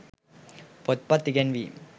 පොත්පත් ඉගැන්වීම්